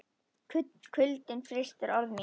Kuldinn frystir orð mín.